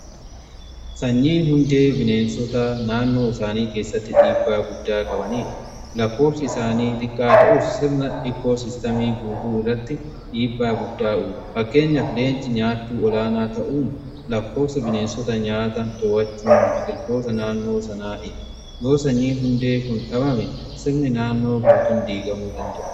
Sanyiin hundee bineensota naannoo isaanii keessatti dhiibbaa guddaa qabaniidha. Lakkoofsa isaanii xiqqaa ta'us sirni ikkoo sistamii guutuu irratti dhiibbaa guddaa uumuu. Fakkeenyaf leenci nyaatuu olaanaa ta'uun lakkoofsa bineensota nyaata to'achuun biqiltoota naannoo sanaaf yoo sanyiin hundee kun dhabame sirni naannoo guutuun diigamuu danda'a.